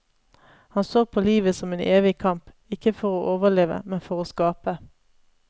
Han så på livet som en evig kamp, ikke for å overleve, men for å skape.